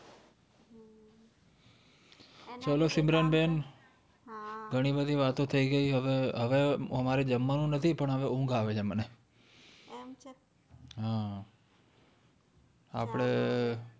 ચાલો સિમરન બેન ઘણી બધી વાતો થઇ ગઈ જમવાનું નથી પણ ઊંઘ આવે છે મને